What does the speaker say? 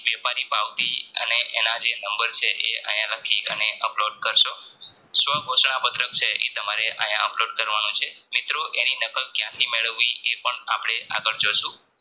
વેપારી ભાવથી અને એનાજે નંબર છે એ આયા નથી અને Upload કરશુ સંધોશણા પત્રક છે ઈ આયા Upload કરવાનું છે મિત્રો એની નકલ ક્યાંથી મેળવવું એ આપણે આગળ જોસુ